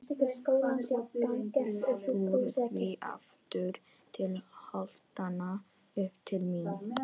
Uppúr því aftur til holtanna, upp til mín.